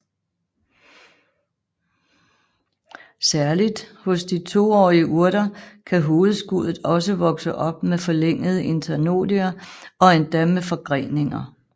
Særligt hos de toårige urter kan hovedskuddet også vokse op med forlængede internodier og endda med forgreninger